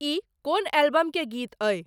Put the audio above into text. ई कोन एल्बम के गीत अई